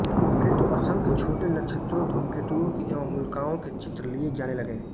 फिर तो असंख्य छोटे बड़े नक्षत्रों धूमकेतुओं एवं उल्काओं के चित्र लिए जाने लगे